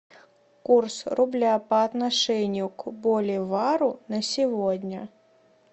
курс рубля по отношению к боливару на сегодня